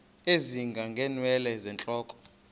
ezinga ngeenwele zentloko